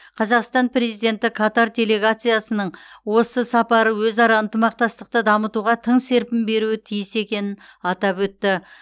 қазақстан президенті катар делегациясының осы сапары өзара ынтымақтастықты дамытуға тың серпін беруі тиіс екенін атап өтті